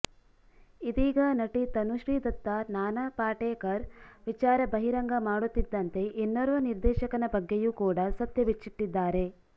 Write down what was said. ಇದೀಗ ನಟಿ ತನುಶ್ರಿ ದತ್ತಾ ನಾನಾ ಪಾಟೇಕರ್ ವಿಚಾರ ಬಹಿರಂಗ ಮಾಡುತ್ತಿದ್ದಂತೆ ಇನ್ನೋರ್ವ ನಿರ್ದೇಶಕನ ಬಗ್ಗೆಯೂ ಕೂಡ ಸತ್ಯ ಬಿಚ್ಚಿಟ್ಟಿದ್ದಾರೆ